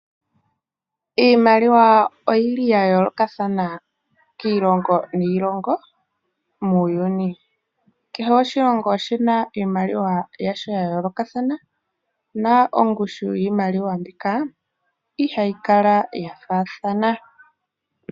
Iimaliwa oyi li ya yoolokathana kiilongo niilongo muuyuni. Kehe oshilongo oshi na iimaliwa yasho ya yoolokathana, na ongushu yiimaliwa mbika ihayi kala ya faathana.